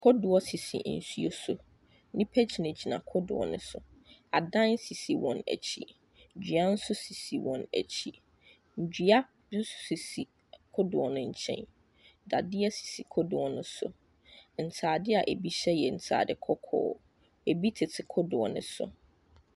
Kodoɔ sisi nsuo so, nnipa gyina kodoɔ ne so, adan sisi wɔn akyi, dua nso sisi wɔn akyi, dua bi nso sisi kodoɔ no nkyɛn. Dadeɛ sisi kodoɔ ne so, ntaade a bi hyɛ yɛ ntaadeɛ kɔkɔɔ, bi tete kodoɔ ne so.